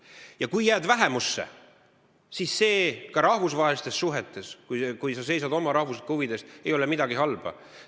Kui sa ka jääd vähemusse, siis selles, kui sa seisad oma rahvuslike huvide eest, ei ole rahvusvahelistes suhetes midagi halba.